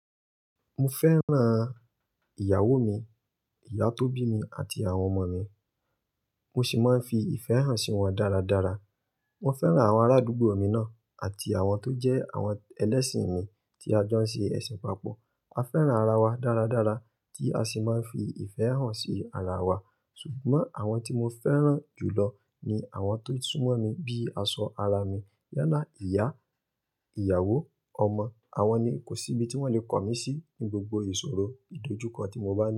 Mo fẹ́ràn ìyàwó mi, ìyá tó bí mi àti àwọn ọmọ mi. Mo sì máa ń fi ìfẹ́ hàn sí wọn dáradára. Wọ́n fẹ́ràn àwọn arádúgbò mi náà àti àwọn tó jẹ́ àwọn ẹlẹ́sìn mi tí a jọ ń ṣe ẹ̀sìn papọ̀. A fẹ́ràn ara wa dáradára tí a sì máa ń fi ìfẹ́ hàn sí ara wa. Ṣùgbọ́n àwọn tí mo fẹ́ràn jùlọ ni àwọn tó súnmọ́ mi bíi aṣọ ara mi yálà ìyá, ìyàwó, ọmọ. Àwọn ni kò sí ibi tí wọ́n lè kọ mí sí, ni gbogbo ìṣòro, idojúkọ tí mo bá ni.